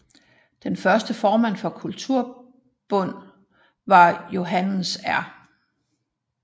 Den første formand for Kulturbund var Johannes R